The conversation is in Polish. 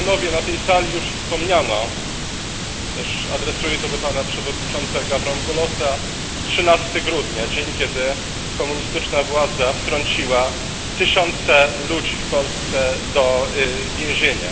Na tej sali już wspomniano też adresuję to do pana przewodniczącego Avramopoulosa 13 grudnia, dzień, kiedy komunistyczna władza wtrąciła tysiące ludzi w Polsce do więzienia.